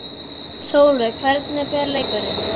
Sólveig: Hvernig fer leikurinn?